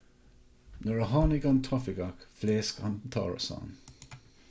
nuair a tháinig an t-oifigeach phléasc an t-árasán